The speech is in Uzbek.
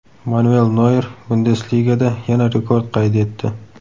Manuel Noyer Bundesligada yana rekord qayd etdi.